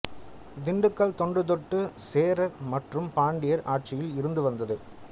திண்டுக்கல் தொன்று தொட்டு சேரர் மற்றும் பாண்டியர் ஆட்சியில் இருந்து வந்தது